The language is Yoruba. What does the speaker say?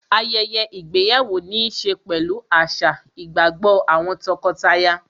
ayẹyẹ ìgbéyàwó níí ṣe pẹ̀lú àṣà, ìgbàgbọ́ àwọn tọkọtaya